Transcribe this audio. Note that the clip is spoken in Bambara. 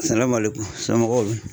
so mɔgɔw dun ?